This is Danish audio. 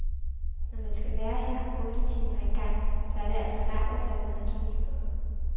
Når man skal være her otte timer ad gangen, så er det altså rart, at der er noget at kigge på.